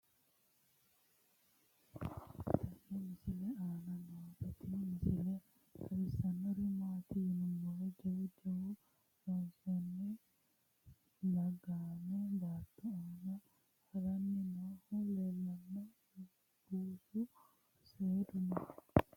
tenne misile aana noorina tini misile xawissannori maati yinummoro jawu wayi lolahanni laaggamme baatto aanna haranni noohu leelanno buussu seedu noo